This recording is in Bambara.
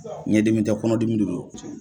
Ɲɛdimi tɛ kɔnɔdimi de do.